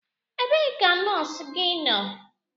Ebee ka nọọsụ gị nọ?